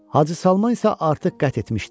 Hacı Salman isə artıq qət etmişdi.